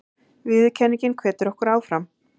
Viðurkenningin hvetur okkur áfram